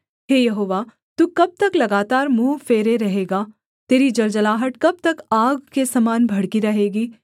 हे यहोवा तू कब तक लगातार मुँह फेरे रहेगा तेरी जलजलाहट कब तक आग के समान भड़की रहेगी